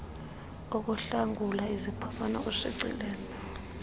ukuhlakula iziphoso nokushicilela